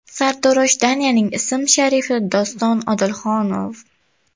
Sartarosh Danyaning ism-sharifi Doston Odilxonov.